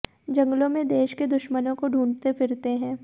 जंगलों में देश के दुश्मनों को ढूंढ़ते फिरते हैं